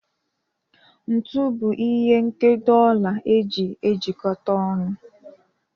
Ntu bụ ihe nkedo ọla eji ejikọta ọnụ.